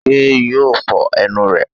Sé yóò fo enu rè?